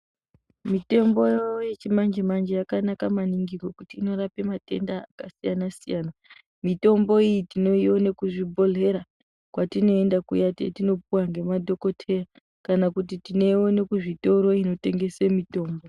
Mitombo yeChimanje manje yakanaka maningi ngekuti inorapa matenda akasiyana siyana mitombo iyi tinoona kuzvibhehlera kwatinoenda kuya kwatinopuwa ngemadhokodheya kana tinoona kuzvitoro inotengesw mitombo